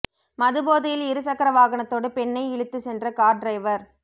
மது போதையில் இரு சக்கர வாகனத்தோடு பெண்ணை இழுத்துச் சென்ற கார் டிரைவர்